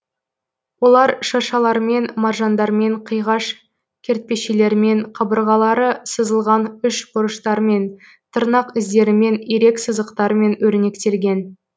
олар шыршалармен маржандармен киғаш кертпешелермен қабырғалары сызылған үш бұрыштармен тырнақ іздерімен ирек сызықтармен өрнектелген